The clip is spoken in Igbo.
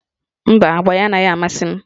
Mba, agba ya anaghị amasị m